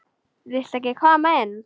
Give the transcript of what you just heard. Viltu ekki koma inn?